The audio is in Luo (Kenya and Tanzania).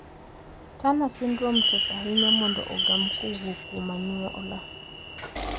Turner syndrome tek ahinya mondo ogam kowuok kuom anyuola.